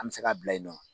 An bɛ se ka bila yen nɔ